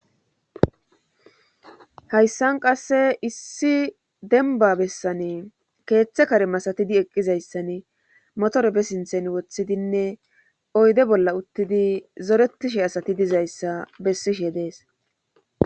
Haysan qase issi dembba bessani keethe kare masatidi eqqizayssani motore be sintheni wothidinne oyde bollla uttidi zorettishe asati dizayssa bessishe dees.